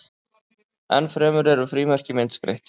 enn fremur eru frímerki myndskreytt